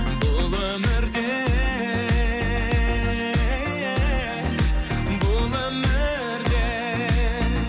бұл өмірде бұл өмірде